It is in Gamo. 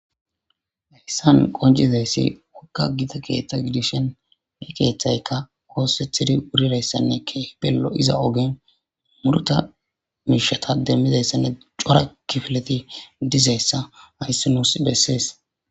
Heysan qoncisizaysika gita keetha gidishin, he keethayka oosetidi wuridaysane keehipe lo'iza ogen muruta miishata demizaysane cora kifileti dizaysa haysi nusi beeses.